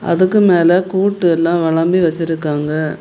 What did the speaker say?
அதுக்கு மேல கூட்டு எல்லா வளம்பி வெச்சிருக்காங்க.